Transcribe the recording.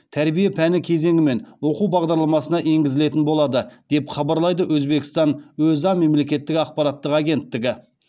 тәрбие пәні кезеңімен оқу бағдарламасына енгізілетін болады деп хабарлайды өзбекстан өза мемлекеттік ақпараттық агенттігі